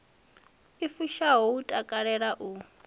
i fushaho u takalela u